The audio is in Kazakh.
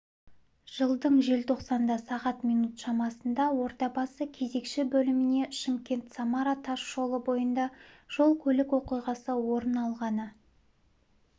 жылдың желтоқсанда сағат минут шамасында ордабасы кезекші бөліміне шымкент-самара тас жолы бойында жол-көлік оқиғасы орын алғаны